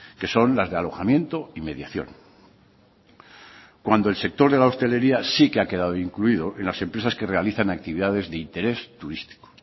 que son las de alojamiento y mediación cuando el sector de la hostelería sí que ha quedado incluido en las empresas que realizan actividades de interés turístico